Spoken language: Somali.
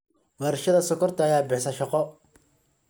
Warshada Sonkorta ayaa bixisa shaqo.